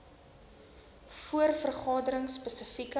voor vergaderings spesifieke